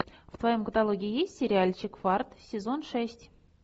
в твоем каталоге есть сериальчик фарт сезон шесть